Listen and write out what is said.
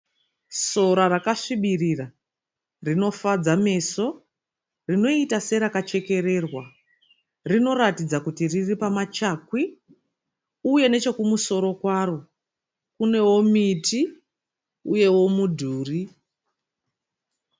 Sora rakasvibirira rinofadza meso rinoita serakachekererwa rinoratidza serakachererwa. Rinoratidza kuti riri pamachakwi uye nechekumusoro kwaro kunewo miti uyewo mudhuri.